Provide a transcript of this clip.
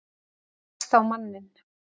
Rekst á manninn.